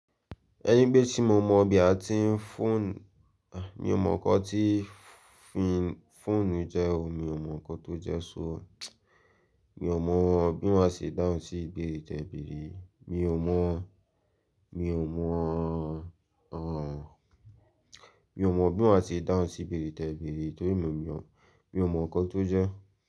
Ẹní pé tí mo mọ̀ bí a ti ń fọ́n, mi ò mọ̀ nkan tí fọ́ǹnù jẹ́ o, mi ò mọ̀ ohunkan tó jẹ́ ṣó. Mi ò mọ̀ bí màá ṣe dáhùn sí ìbèrè tẹ́ bèèrè yíi. Mi ò mọ̀, mi ò mọ̀, mi ò mọ̀ bí màá ṣe dáhùn sí ìbèrè tẹ́ bèèrè yì torí mio mo mi ò mọ̀ ohunkọ́ tó jẹ́.